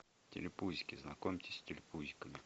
телепузики знакомьтесь с телепузиками